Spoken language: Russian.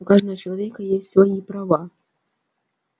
у каждого человека есть свои права